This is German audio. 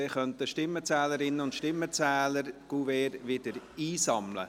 Dann könnten die Stimmenzählerinnen und Stimmenzähler die Kuverts wieder einsammeln.